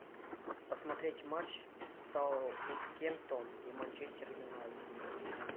посмотреть матч саутгемптон и манчестер юнайтед